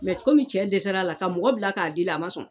komi cɛ dɛsɛr'a la, ka mɔgɔ bila k'a deli a ma sɔn